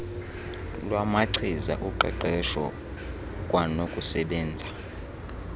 lwamachiza uqeqeswho kwanokusebenza